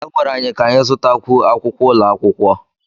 A gwara anyị ka anyị zụtakwu akwụkwọ ụlọ akwụkwọ